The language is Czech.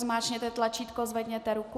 Zmáčkněte tlačítko, zvedněte ruku.